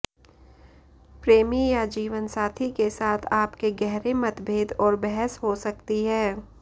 प्रेमी या जीवनसाथी के साथ आपके गहरे मतभेद और बहस हो सकती है